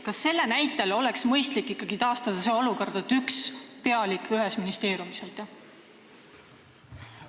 Kas selle näitel ei oleks ikkagi mõistlik taastada olukord, et ühes ministeeriumis on üks pealik?